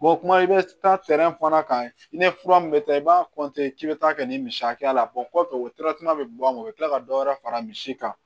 kuma i bɛ taa fana kan i ni fura min bɛ taa i b'a k'i bɛ taa kɛ ni misi hakɛya la kɔfɛ o bɛ bɔ o bɛ tila ka dɔ wɛrɛ fara misi kan